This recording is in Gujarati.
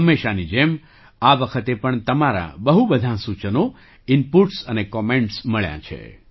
હંમેશાંની જેમ આ વખતે પણ તમારાં બહુ બધાં સૂચનો ઇનપૂટ્સ અને કૉમેન્ટ્સ મળ્યાં છે